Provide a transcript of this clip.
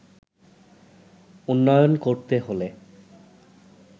উন্নয়ন করতে হলে